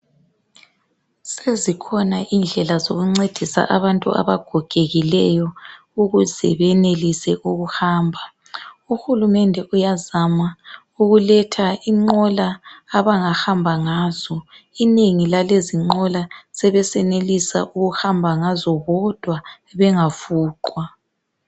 Sezikhona indlela zokuncedisa abantu abagogekileyo ukuze benelise ukuhamba. Uhulumende uyazama ukuletha inqola abangahamba ngazo. Inengi lalezinqola sebesenelisa ukuhamba ngazo bodwa bengafuqwa